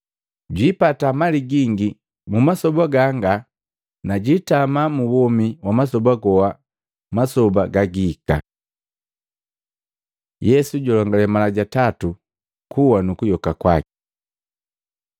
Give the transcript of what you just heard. jwijopa mali gingi mu masoba ganga na jitama mu womi wa masoba goha masoba gagahika.” Yesu julongale mala ja tatu kuwa nu kuyoka kwaki Matei 20:17-19; Maluko 10:32-34